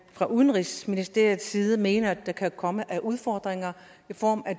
fra udenrigsministeriets side mener der kan komme af udfordringer i form af